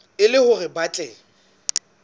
e le hore ba tle